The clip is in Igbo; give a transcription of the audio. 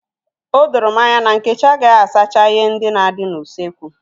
Odoro m anya na Nkechi agaghị asacha ihe ndị na-adị n'usekwu.